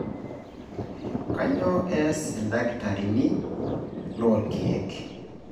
Kanyioo eeas ildakitarini le loorkiek?